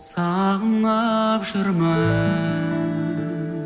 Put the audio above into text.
сағынып жүрмін